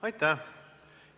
Aitäh!